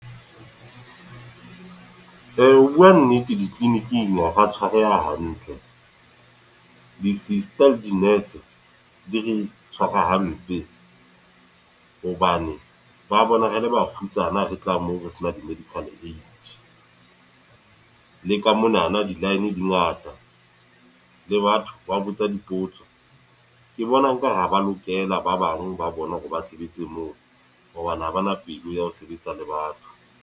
Ho bua nnete di-clinic-ing ha ra tshwareha hantle. Di-sister le di-nurse, di re tshwara hampe. Hobane ba bona rele bafutsana, re tla moo re sena di-medical aid. Le ka mo na na di-line di ngata, le batho ba botsa dipotso. Ke bona nkare ha ba lokela ba bang ba bona hore ba sebetse moo. Hobane ha ba na pelo ya ho sebetsa le batho.